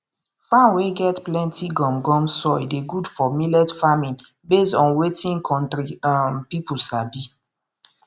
farm wey get plenty gum gum soil dey good for millet farming based on wetin country um people sabi